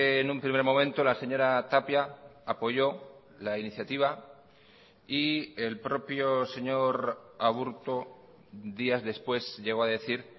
en un primer momento la señora tapia apoyó la iniciativa y el propio señor aburto días después llegó a decir